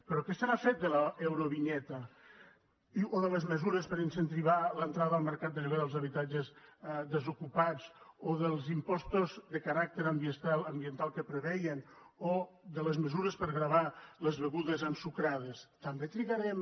però què se n’ha fet de l’eurovinyeta o de les mesures per incentivar l’entrada al mercat de lloguer dels habitatges desocupats o dels impostos de caràcter ambiental que preveien o de les mesures per gravar les begudes ensucrades també trigarem